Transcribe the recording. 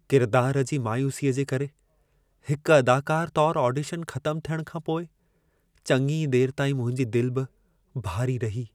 किरदार जी मायूसीअ जे करे हिकु अदाकार तौरु ऑडिशन ख़तम थियणु खां पोइ चङी देर ताईं मुंहिंजी दिलि बि भारी रही।